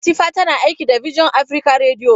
Latifa tana aiki da bision Afrika rediyo.